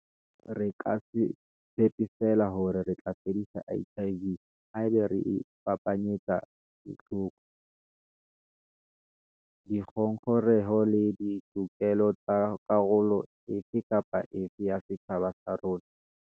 Re ka se tshepe feela hore re tla fedisa HIV haeba re iphapanyetsa ditlhoko, dingongoreho le ditokelo tsa karolo e fe kapa e fe ya setjhaba sa rona.